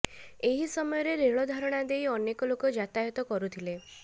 ଏହି ସମୟରେ ରେଳ ଧାରଣା ଦେଇ ଅନେକ ଲୋକ ଯାତାୟତ କରୁଥିଲେ